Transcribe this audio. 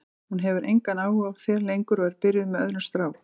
Hún hefur engan áhuga á þér lengur og er byrjuð með öðrum strák.